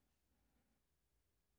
Samme programflade som øvrige dage